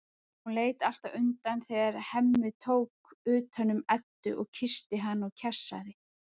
Hún leit alltaf undan þegar Hemmi tók utan um Eddu og kyssti hana og kjassaði.